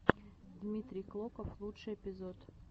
дмитрий клоков лучший эпизод